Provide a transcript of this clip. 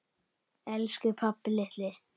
Elsku pabbi litli.